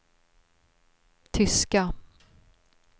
tyska